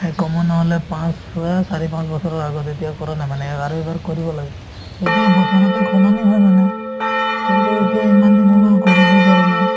সেই কমেও নহলে পাঁচ ছয়ে চাৰি পাঁচ বছৰৰ আগত এতিয়া কৰা নাই মানে অ আৰু এবাৰ কৰিব লাগে এতিয়া বস্তু সলনি হয় মানে কিন্তু এতিয়া ইমান দিন হৈ গল কৰিবয়ে পাৰা নাই